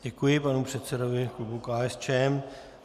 Děkuji panu předsedovi klubu KSČM.